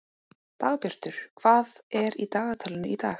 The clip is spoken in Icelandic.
Dagbjartur, hvað er í dagatalinu í dag?